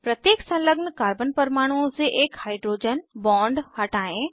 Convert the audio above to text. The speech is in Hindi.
प्रत्येक संलग्न कार्बन परमाणुओं से एक हाइड्रोजन बॉन्ड हटायें